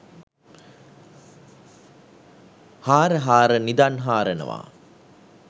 හාර හාර නිදන් හාරනවා